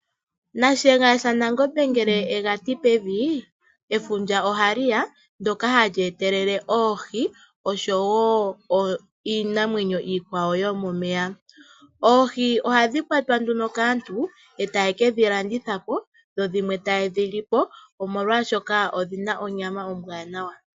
Shiyenga sha Nangombe ngele yega ti pevi efundja ohaliya ndoka hali etelele oohi oshowo iinamwenyo iikwawo yo momeya. Oohi ohadhi kwatwa nduno kaantu e taye keshilandithapo dho dhimwe ta yedhi lipo molwaashoka odhina onyama ombwanawa.